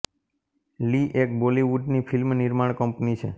લિ એક બોલીવુડ ની ફિલ્મ નિર્માણ કંપની છે